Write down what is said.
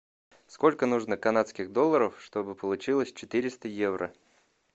сколько нужно канадских долларов чтобы получилось четыреста евро